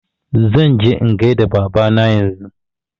Zan je in gaida Baba na yanzu